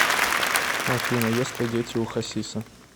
афина есть ли дети у хасиса